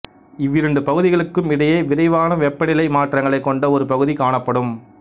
இவ்விரண்டு பகுதிகளுக்கும் இடையே விரைவான வெப்பநிலை மாற்றங்களைக் கொண்ட ஒரு பகுதி காணப்படும்